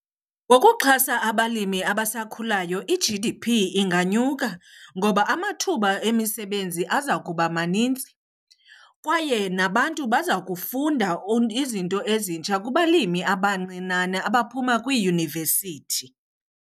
Ngokuxhasa abalimi abasakhulayo i-G_D_P inganyuka ngoba amathuba emisebenzi aza kuba maninzi kwaye nabantu baza kufunda izinto ezintsha kubalimi abancinane abaphuma kwiiyunivesithi.